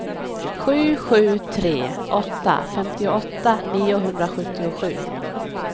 sju sju tre åtta femtioåtta niohundrasjuttiosju